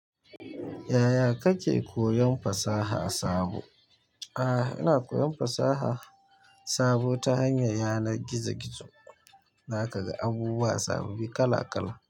Yaya kake koyon fasaha sabo? Ina koyan fasa sabo ta hanyar yanan gizo gizo zakaga abubuwa sa babbi kalakala.